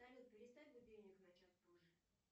салют переставь будильник на час позже